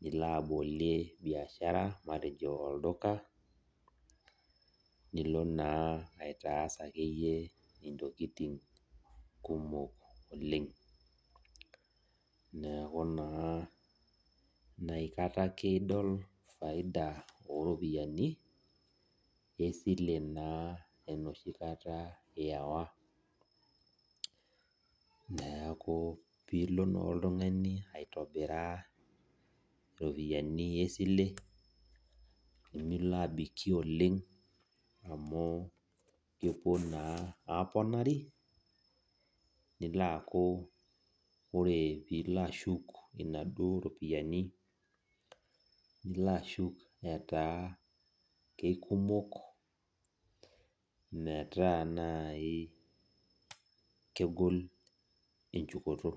nilo abolie biashara matejo olduka Nilo na aitaas akeyie ntokitin oleng neaku na inakata ake idol faidai oropiyiani esile enoshi kata iyawa neaku pilo na oltungani aitobiraa ropiyani esile nilo abikie oleng amu kepuo na aponari neaku ore pilo ashuk naduo ropiyiani nilo ashuk ataa kekumok metaa nai kegol echukoto.